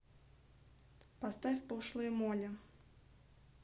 поставь пошлая молли